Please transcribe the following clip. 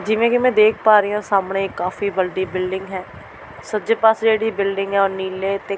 ਜਿਵੇਂ ਕਿ ਮੈਂ ਦੇਖ ਪਾ ਰਹੀ ਹਾਂ ਸਾਹਮਣੇ ਇੱਕ ਕਾਫੀ ਵੱਡੀ ਬਿਲਡਿੰਗ ਹੈ ਸੱਜੇ ਪਾਸੇ ਜਿਹੜੀ ਬਿਲਡਿੰਗ ਹੈ ਉਹ ਨੀਲੇ ਤੇ --